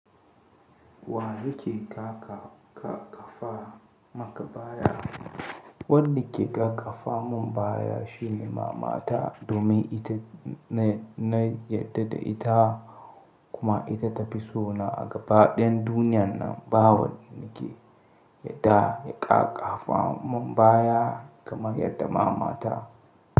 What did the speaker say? Wa yake ƙaƙafa maka baya? Wadda ke ƙaƙafa mun baya shine mama ta, domin ita na yarda da ita kuma ita ta fi so na a gaba ɗayan duniyan nan. Ba wanda ke yarda ya ƙaƙafa mun baya kamar yarda mama ta.